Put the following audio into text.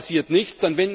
Dort passiert nichts.